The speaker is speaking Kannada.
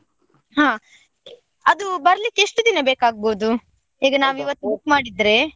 ಹಾ ಅದು ಬರ್ಲಿಕ್ಕೆ ಎಷ್ಟ್ ದಿನ ಬೇಕಾಗಬಹುದು, ಈಗ ನಾವ್ ಇವತ್ book ಮಾಡಿದ್ರೆ.